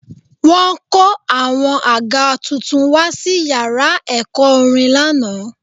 Wọ́n kó àwọn àga tuntun wá sí yàrá ẹ̀kọ́ orin lánàá